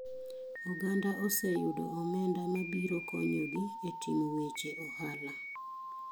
Oganda oseyudo omenda mabiro konyo gi e timo weche ohala.